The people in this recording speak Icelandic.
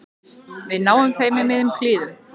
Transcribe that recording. Við náðum þeim í miðjum klíðum